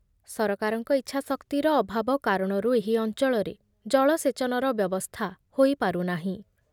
ସରକାରଙ୍କ ଇଚ୍ଛାଶକ୍ତିର ଅଭାବ କାରଣରୁ ଏହି ଅଂଚଳରେ ଜଳସେଚନର ବ୍ୟବସ୍ଥା ହୋଇପାରୁନାହିଁ ।